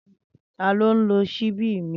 Tani o nlo ṣíbí mi?